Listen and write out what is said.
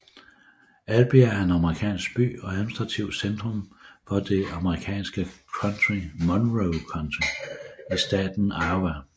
Albia er en amerikansk by og administrativt centrum for det amerikanske county Monroe County i staten Iowa